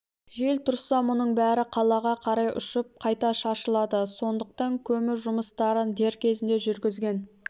жел тұрса мұның бәрі қалаға қарай ұшып қайта шашылады сондықтан көму жұмыстарын дер кезінде жүргізген